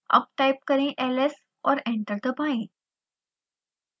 अब टाइप करें ls और एंटर दबाएं